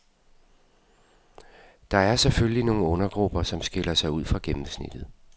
Der er selvfølgelig nogle undergrupper, som skiller sig ud fra gennemsnittet.